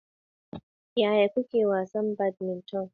Yaya kuke wasa badminton?